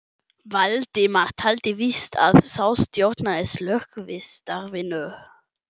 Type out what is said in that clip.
Valdimar taldi víst að sá stjórnaði slökkvistarfinu.